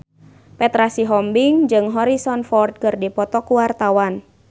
Petra Sihombing jeung Harrison Ford keur dipoto ku wartawan